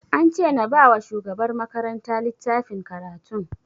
An ce na ba wa shugabar makaranta littafin karatun